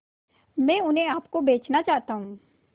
मैं उन्हें आप को बेचना चाहता हूं